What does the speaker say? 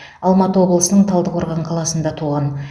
алматы облысының талдықорған қаласында туған